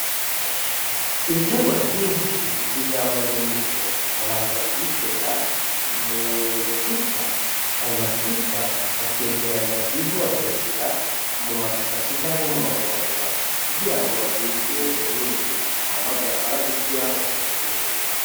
Ibiterwa vyinshi vy'ivyamwa n'imbuto babanza kubitera mwituta ayo matuta bakegeranya ivu bakayishira mu mashashi canke mu mahubahuba kugira ngo bagwize umwimbu hama vyamara gukura bakabigemura.